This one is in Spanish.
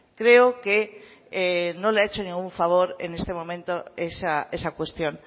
creo que no le ha hecho ningún favor en este momento esa cuestión